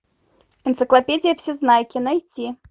энциклопедия всезнайки найти